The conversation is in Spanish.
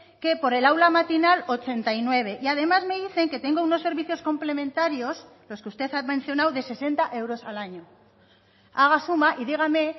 que por el aula matinal ochenta y nueve y además me dicen que tengo unos servicios complementarios los que usted ha mencionado de sesenta euros al año haga suma y dígame